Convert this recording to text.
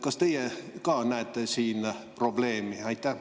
Kas teie näete siin probleemi?